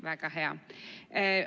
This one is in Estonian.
Väga hea!